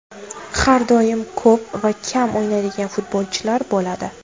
Har doim ko‘p va kam o‘ynaydigan futbolchilar bo‘ladi.